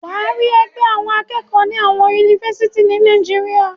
Wàá rí ẹgbẹ́ akẹ́kọ̀ọ́ ni àwọn Yunifásítì ni Nàìjíríà.